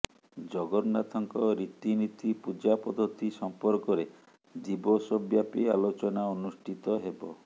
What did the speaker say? ଜଗନ୍ନାଥଙ୍କ ରୀତି ନୀତି ପୂଜାପଦ୍ଧତି ସମ୍ପର୍କରେ ଦିବସବ୍ୟାପୀ ଆଲୋଚନା ଅନୁଷ୍ଠିତ ହେବ